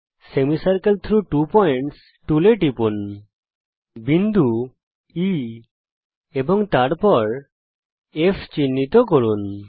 semicircle through two points টুলে টিপুন বিন্দু E এবং তারপর F কে চিহ্নিত করুন